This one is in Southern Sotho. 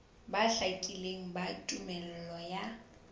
bo hlakileng ba tumello ya